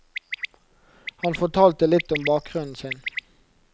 Han fortalte litt om bakgrunnen sin.